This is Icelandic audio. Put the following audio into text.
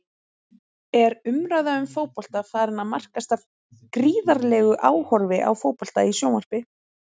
Er umræða um fótbolta farin að markast af gríðarlegu áhorfi á fótbolta í sjónvarpi?